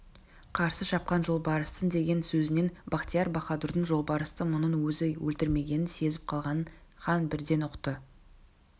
қарсы шапқан жолбарыстыңдеген сөзінен бахтияр-баһадурдың жолбарысты мұның өзі өлтірмегенін сезіп қалғанын хан бірден ұқты